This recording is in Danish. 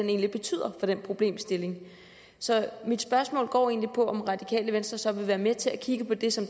egentlig betyder for den problemstilling så mit spørgsmål går egentlig på om radikale venstre så vil være med til at kigge på det som